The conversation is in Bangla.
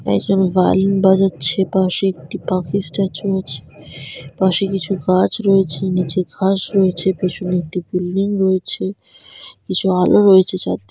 একজন ভায়োলিন বাজাচ্ছে পাশে একটি পাকিস স্ট্যাচু আছে পাশে কিছু গাছ রয়েছে নিচে ঘাস রয়েছে পিছনে একটি বিল্ডিং রয়েছে কিছু আলো রয়েছে চার--